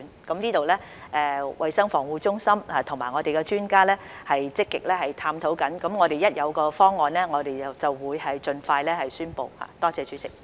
這方面，衞生防護中心和我們的專家正在積極探討，我們一有方案便會盡快宣布。